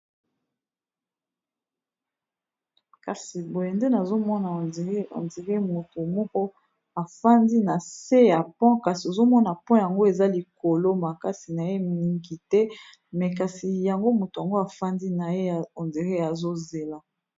Kasi boye nde nazomona ondire ondire motu moko afandi na se ya pond kasi ozomona pond yango eza likolo makasi na ye mingi te me kasi yango motu yango afandi na ye ondire azo zela.